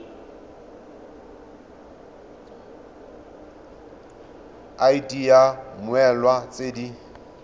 id ya mmoelwa tse di